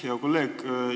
Hea kolleeg!